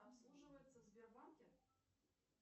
обслуживается в сбербанке